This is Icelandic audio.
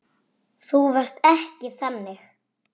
Þú varst ekki þannig.